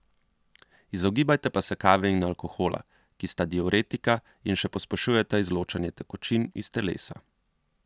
Izogibajte pa se kave in alkohola, ki sta diuretika in še pospešujeta izločanje tekočin iz telesa.